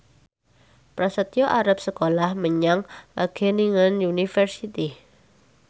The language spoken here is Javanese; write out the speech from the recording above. Prasetyo arep sekolah menyang Wageningen University